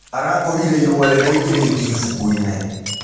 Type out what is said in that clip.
Arakorĩre ĩrũa rĩraĩngĩrĩtĩo ĩbũkũĩnĩ.